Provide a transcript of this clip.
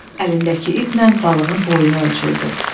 Əlindəki ipnən balığın boyunu ölçürdü.